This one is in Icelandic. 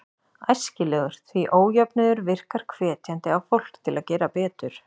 Æskilegur, því ójöfnuður virkar hvetjandi á fólk til að gera betur.